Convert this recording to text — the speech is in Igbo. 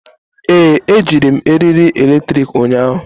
Ee, ejiri m eriri eletrik ụnyahụ.